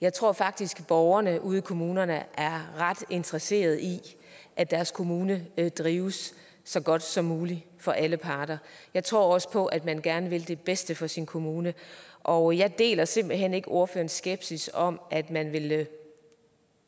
jeg tror faktisk at borgerne ude i kommunerne er ret interesserede i at deres kommune drives så godt som muligt for alle parter jeg tror også på at man gerne vil det bedste for sin kommune og jeg deler simpelt hen ikke ordførerens skepsis om at man vil